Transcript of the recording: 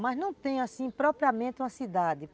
Mas não tem assim propriamente uma cidade.